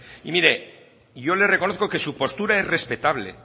mire yo le reconozco que su postura es respetable